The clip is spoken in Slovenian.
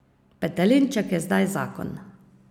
Petelinček je zdaj zakon.